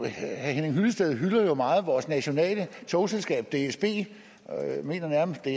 henning hyllested hylder jo meget vores nationale togselskab dsb han mener nærmest at